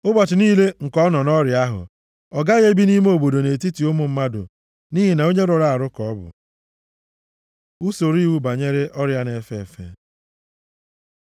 Ụbọchị niile nke ọ nọ nʼọrịa ahụ, ọ gaghị ebi nʼime obodo nʼetiti ụmụ mmadụ nʼihi na onye rụrụ arụ ka ọ bụ. Usoro iwu banyere Ọrịa na-efe efe